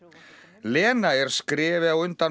Lena er skrefi á undan